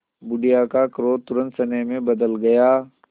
बुढ़िया का क्रोध तुरंत स्नेह में बदल गया